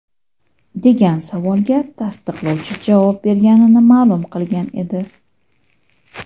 degan savolga tasdiqlovchi javob berganini ma’lum qilgan edi.